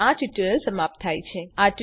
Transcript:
અહીં આ ટ્યુટોરીયલ સમાપ્ત થાય છે